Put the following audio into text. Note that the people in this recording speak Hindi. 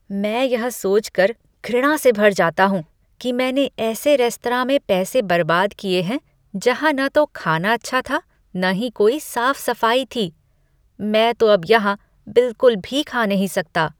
मैं यह सोचकर घृणा से भर जाता हूँ कि मैंने ऐसे रेस्तरां में पैसे बर्बाद किए हैं जहाँ न तो खाना अच्छा था न ही कोई साफ़ सफ़ाई थी। मैं तो अब यहाँ बिलकुल भी खा नहीं सकता।